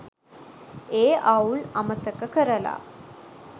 ඒ අවුල් අමතක කරලා